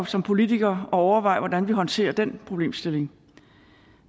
som politikere at overveje altså hvordan vi håndterer den problemstilling